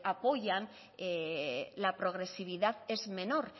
apoyan la progresividad es menor